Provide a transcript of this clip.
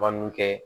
kɛ